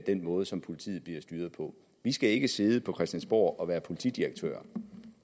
den måde som politiet bliver styret på vi skal ikke sidde på christiansborg og være politidirektører